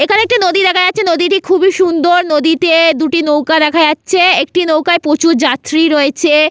এখানে একটি নদী দেখা যাচ্ছে নদীটি খুবই সুন্দর নদীতে দুটি নৌকা দেখা যাচ্ছে একটি নৌকায় প্রচুর যাত্রী রয়েছে।